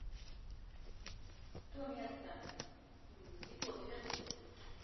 то место не тот верни